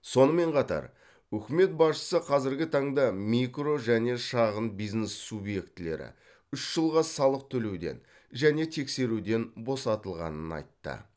сонымен қатар үкімет басшысы қазіргі таңда микро және шағын бизнес субъектілері үш жылға салық төлеуден және тексеруден босатылғанын айтты